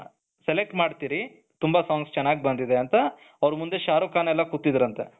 select ಮಾಡುತ್ತೀರಿ ತುಂಬಾ songs ಚೆನ್ನಾಗ್ ಬಂದಿದೆ ಅಂತ ಅವರ ಮುಂದೆ ಶಾರುಖ್ ಖಾನ್ ಎಲ್ಲ ಕೂತಿದ್ರಂತೆ